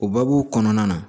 O baabu kɔnɔna na